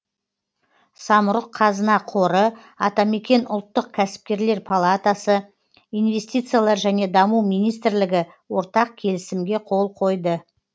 самұрық қазына қоры атамекен ұлттық кәсіпкерлер палатасы инвестициялар және даму министрлігі ортақ келісімге қол қойды